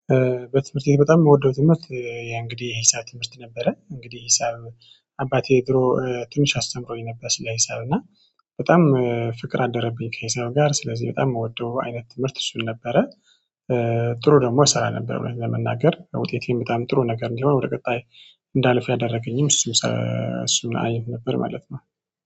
በትምህርት ቤት በጣም የምወደው ትምህርት እንግዲህ የሂሳብ ትምህርት ነበረ እንግዲህ ሂሳብ አባቴ ድሮ ትንሽ አስተምሮኝ ነበር ስለ ሂሳብ በጣም ፍቅር አደረብኝ ከሂሳብ ጋር ስለዚህ በጣም የምወደው አይነት ትምህርት እሱን ነበረ። ጥሩ ደግሞ እሰራ ነበር እውነት ለመናገር ውጤቴም በጣም ጥሩ ነገር እንዲሆን ወደ ቀጣይ እንዳልፍ ያደረገኝም እሱም እሱም አይን ነበር ማለት ነው